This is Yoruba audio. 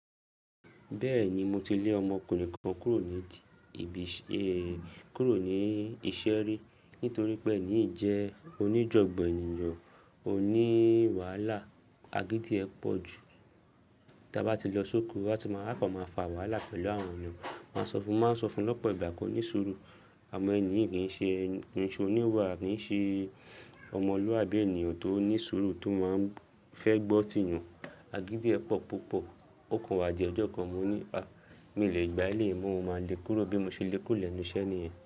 Bẹ́ẹ̀ni, mo ti lè ọmọkùnrin kan kúrò ní ji- ibi, ẹ, kúrò ní iṣẹ́ rí, nítorí pé ẹni yìí jẹ́ oníjọ̀gbọ̀ ènìyàn, oní wàhálà, agídí ẹ pọ̀ ju. Ta bá ti lọ sóko, a tí máa, a kan máa fà wàhálà pẹ̀lú àwọn èyàn. Máa sọ fún, mo máa ń sọ fún lọ́pọ̀ ìgbà kó ní ṣúru, àmọ́ ẹ̀ní yí kìn ṣe oníwà, kìn ṣe ọmọlúàbí ènìyàn tó ní ṣúru tó máa ń fẹ́ gbọ́ tì èyàn. Agídí ẹ pọ̀ púpọ̀, ókan wa jẹ́ ọjọ́ kan, mo ní "à mi ò lè gbà eléyìí mọ́ o, mo máa lé kúrò". Bí mo ṣe lé kúrò lẹ́nu iṣẹ́ niyen.